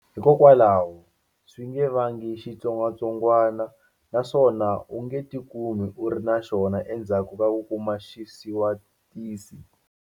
Hikokwalaho, swi nge vangi xitsongwatsongwana na swona u nge tikumi u ri na xona endzhaku ka ku kuma xisawutisi.